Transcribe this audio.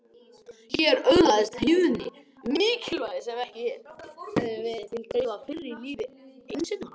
Hér öðlaðist hlýðni mikilvægi sem ekki hafði verið til að dreifa fyrr í lífi einsetumanna.